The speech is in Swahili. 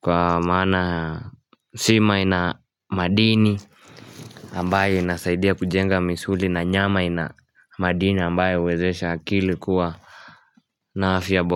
kwa maana sima ina madini ambayo inasaidia kujenga misuli na nyama ina madini ambayo huwezesha akili kuwa na afya bora.